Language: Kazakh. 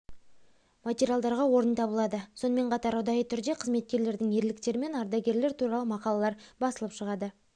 материалдарға орын табылады сонымен қатар ұдайы түрде қызметкерлердің ерліктері мен ардагерлер туралы мақалалар басылып шығады